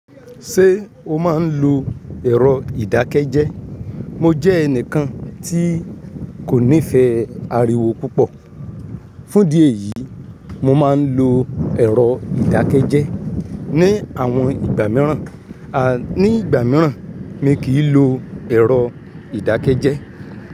Ṣé o máa ń lo ẹ̀rọ ìdákẹ́jẹ́? Mo jẹ́ ẹnìkan tí kò nífẹ̀ẹ́ ariwo púpọ̀, fún dí ẹ̀yìí mo máa ń lo ẹ̀rọ ìdákẹ́jẹ́. Ní àwọn ìgbà mìíràn, a, ní ìgbà mìíràn mi kì í lo ẹ̀rọ ìdákẹ́jẹ́